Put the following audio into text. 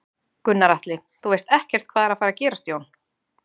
Gunnar Atli: Þú veist ekkert hvað er að fara gerast Jón?